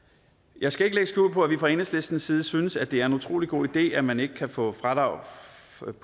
jeg skal ikke lægge skjul på at vi fra enhedslistens side synes at det er en utrolig god idé at man ikke kan få fradrag